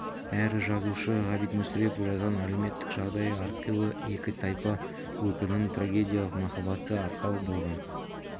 әрі жазушы ғабит мүсірепов жазған әлеуметтік жағдайы әрқилы екі тайпа өкілінің трагедиялық махаббаты арқау болған